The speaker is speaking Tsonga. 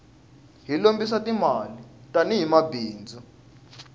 hi lombisa ti mali tani hi bindzu